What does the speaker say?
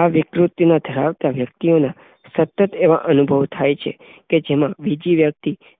આ વિકૃતિ ધરાવનાર વ્યક્તિને સતત એવા અનુભવ થયા છે કે બીજી વ્યક્તિ